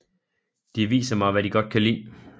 De viser mig hvad de godt kan lide